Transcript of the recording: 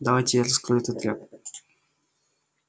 давайте я раскрою этот ряд